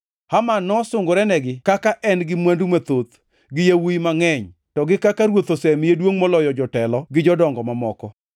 Haman nosungorenegi kaka en-gi mwandu mathoth, gi yawuowi mangʼeny, to gi kaka ruoth osemiye duongʼ moloyo jotelo gi jodongo mamoko.